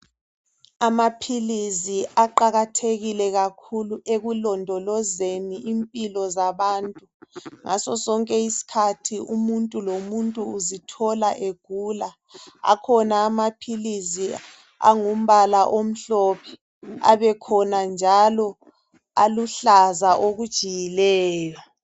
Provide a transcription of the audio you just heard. Amaphilizi aqakathekile kakhulu ekulondolozeni impilo zabantu. Ngaso sonke isikhathi umuntu lomuntu uzithola egula. Akhona anaphilizi angumbala omhlophe. Abekhona njalo aluhlaza okujiyileyo.